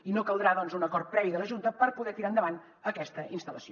i no caldrà doncs un acord previ de la junta per poder tirar endavant aquesta instal·lació